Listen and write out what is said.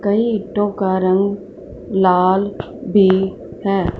कई ईंटों का रंग लाल भी है।